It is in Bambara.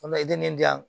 An bɛ den di yan